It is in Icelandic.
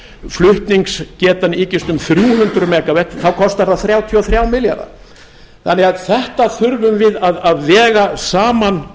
flutningsgetan ykist um þrjú hundruð megavött þá kostar það þrjátíu og þrjá milljarða þannig að þetta þurfum við að vega saman